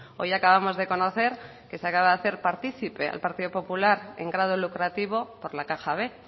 hoy acabamos de conocer que se acaba de hacer partícipe al partido popular en grado lucrativo por la caja b